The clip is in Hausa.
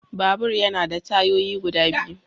Babur yana da tayoyi guda biyu.